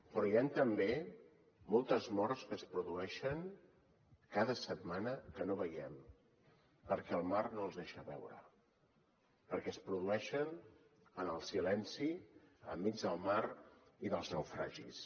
però hi han també moltes morts que es produeixen cada setmana que no veiem perquè el mar no les deixa veure perquè es produeixen en el silenci enmig del mar i dels naufragis